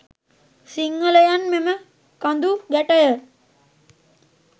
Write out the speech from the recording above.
සිංහලයන් මෙම කඳු ගැටය